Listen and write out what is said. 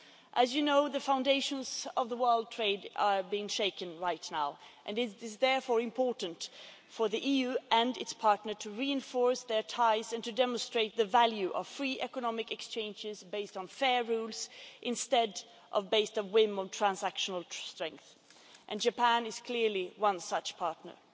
As you know, the foundations of world trade are being shaken right now, and it is therefore important for the EU and its partners to reinforce their ties and to demonstrate the value of free economic exchanges based on fair rules, as opposed to whim and transactional strength, and Japan is clearly one such partner.